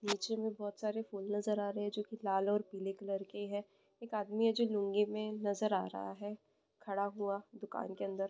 नीचेमे बोहोतसारे फूल नजर आरहे हे जो की लाल और पीले कलर का हे एक आदमी हे जो लूँगीमे नजर आ रहा हे खड़ा हुआ दुकान के अंदर।